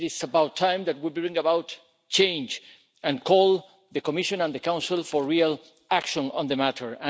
It is about time that we bring about change and call on the Commission and the Council for real action on the matter.